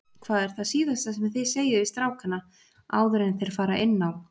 Hvað er það síðasta sem þið segið við strákana áður enn þeir fara inn á?